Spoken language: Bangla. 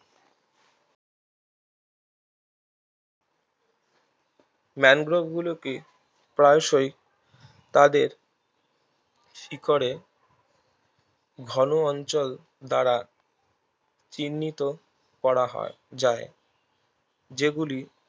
ম্যানগ্রোভ গুলোকে প্রায়শই তাদের শিকড়ে ঘন অঞ্চল দ্বারা চিহ্নিত করা হয় যায় যেগুলি